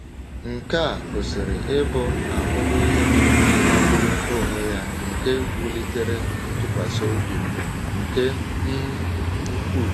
Nke a gosiri ịbụ ahụmịhe magburu onwe ya nke wulitere ntụkwasị obi m nke um ukwuu.